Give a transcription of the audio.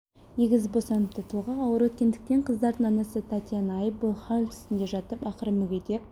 егіз босаныпты толғақ ауыр өткендіктен қыздардың анасы татьяна ай бойы хал үстінде жатып ақыры мүгедек